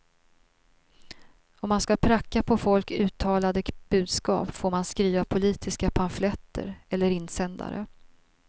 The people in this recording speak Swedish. Om man ska pracka på folk uttalade budskap får man skriva politiska pamfletter eller insändare.